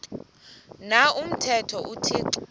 na umthetho uthixo